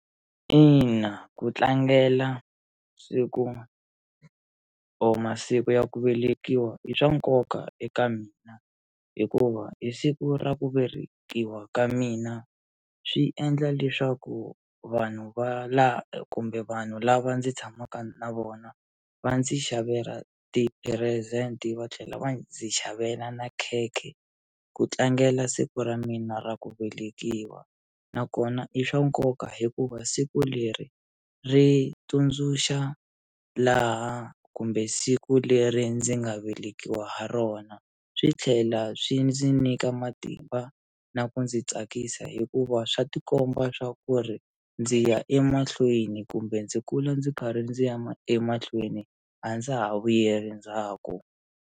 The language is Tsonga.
Ina ku tlangela siku or masiku ya ku velekiwa i swa nkoka eka mina hikuva hi siku ra ku velekiwa ka mina swi endla leswaku vanhu va la kumbe vanhu lava ndzi tshamaka na vona va ndzi xavela ti-present va tlhela va ndzi xavela na khekhe ku tlangela siku ra mina ra ku velekiwa nakona i swa nkoka hikuva siku leri ri tsundzuxa laha kumbe siku leri ndzi nga velekiwa ha rona swi tlhela swi ndzi nyika matimba na ku ndzi tsakisa hikuva swa tikomba swa ku ri ndzi ya emahlweni kumbe ndzi kula ndzi karhi ndzi ya ma emahlweni a ndza ha vuyeli ndzhaku.